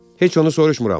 Heç onu soruşmuram.